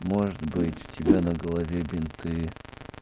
может быть у тебя на голове бинты